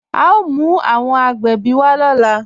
A o mú awọn agbẹ́bí wa lọ́lá.